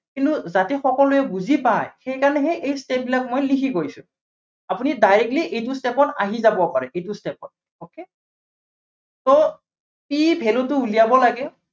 কিন্তু যাতে সকলোৱে বুজি পায়, সেইকাৰনেহে এই step বিলাক মই লিখি গৈছো। আপুনি directly এইটো step ত আহি যাবও পাৰে। এইটো step ত okay c ৰ value টো উলিয়াব লাগে।